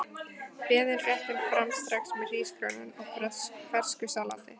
Berið réttinn fram strax með hrísgrjónum og fersku salati.